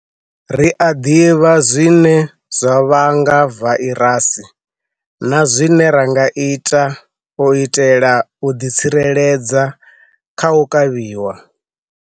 Ri a ḓivha zwine zwa vhanga vairasi na zwine ra nga ita u itela u ḓitsireledza kha u kavhiwa.